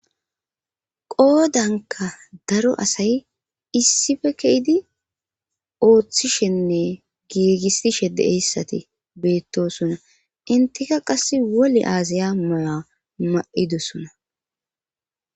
Qoodanka daro asay issife keyydi ooththishenne giigisishe deeyssati beettosuna intika qass wole aazaya mala ma7idosona.